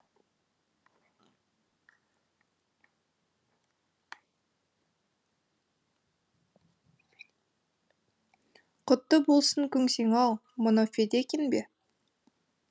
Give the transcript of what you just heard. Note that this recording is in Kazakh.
құтты болсын көнсең ау мынау федекин бе